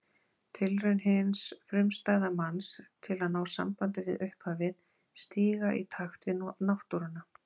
Tilraun hins frumstæða manns til að ná sambandi við upphafið, stíga í takt við Náttúruna.